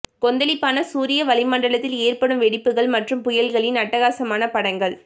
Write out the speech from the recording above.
கொந்தளிப்பான சூரிய வளிமண்டலத்தில் ஏற்படும் வெடிப்புகள் மற்றும் புயல்களின் அட்டகாசமான படங்கள்